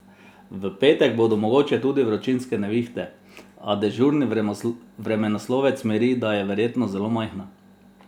V petek bodo mogoče tudi vročinske nevihte, a dežurni vremenoslovec miri, da je verjetnost zelo majhna.